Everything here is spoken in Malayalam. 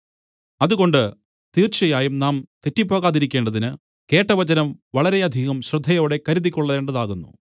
അതുകൊണ്ട് തീർച്ചയായും നാം തെറ്റിപ്പോകാതിരിക്കേണ്ടതിന് കേട്ട വചനം വളരെയധികം ശ്രദ്ധയോടെ കരുതിക്കൊള്ളേണ്ടതാകുന്നു